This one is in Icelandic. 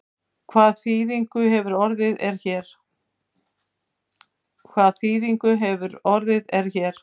Hvað þýðingu hefur orðið er hér?